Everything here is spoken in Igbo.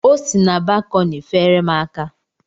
O si na balkọni feere m aka.